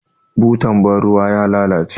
Butar ban ruwa ya lalace jiya.